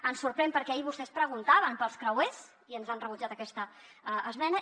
ens sorprèn perquè ahir vostès preguntaven pels creuers i ens han rebutjat aquesta esmena